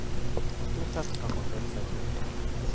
Stort sett kan man føle seg trygg.